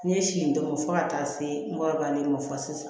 N ye si in don fo ka taa se mugan ni mugan fɔ sisan